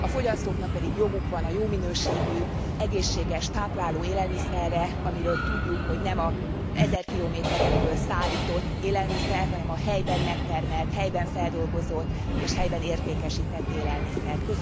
A fogyasztóknak pedig joguk van a jó minőségű, egészséges, tápláló élelmiszerre, amiről tudjuk, hogy nem az ezer kilométerekről szállított élelmiszer, hanem a helyben megtermelt, helyben feldolgozott és helyben értékesített élelmiszer